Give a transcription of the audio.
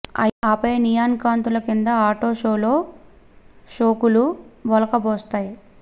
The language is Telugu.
ఆపై నియాన్ కాంతుల కింద ఆటో షోలో సోకులు ఒలకబోస్తాయి